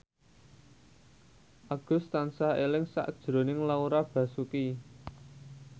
Agus tansah eling sakjroning Laura Basuki